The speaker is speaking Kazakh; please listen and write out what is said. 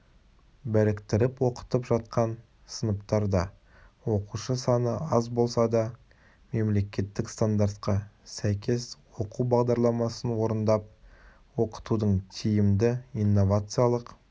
біріктіріп оқытып жатқан сыныптарда оқушы саны аз болса да мемлекеттік стандартқа сәйкес оқу бағдарламасын орындап оқытудың тиімді инновациялық